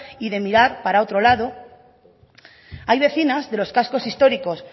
y de mirar para otro lado hay vecinas de los cascos históricos